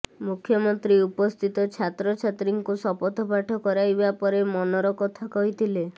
ମୁଖ୍ୟମନ୍ତ୍ରୀ ଉପସ୍ଥିତ ଛାତ୍ରଛାତ୍ରୀଙ୍କୁ ଶପଥପାଠ କରାଇବା ପରେ ମନର କଥା କହିଥିଲେ